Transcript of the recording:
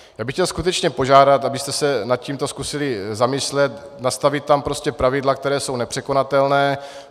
Já bych chtěl skutečně požádat, abyste se nad tím zkusili zamyslet, nastavit tam prostě pravidla, která jsou nepřekonatelná.